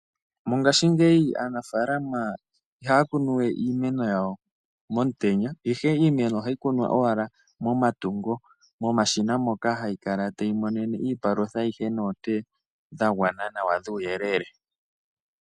Mongaashi ngeyi aanafalama ihaakunuwe iimeno yawo momutenya ihe iimeno ohayi kunwa momatungo, momashina mono hayikala tayi monene mo iipalutha noonte dhagwana nawa dhuuyelele.